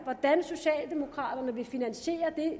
hvordan socialdemokraterne vil finansiere